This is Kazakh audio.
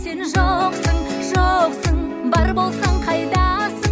сен жоқсың жоқсың бар болсаң қайдасың